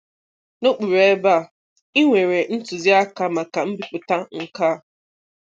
Nokpuru ebe a, ị nwere ntuziaka maka mbipụta nke a.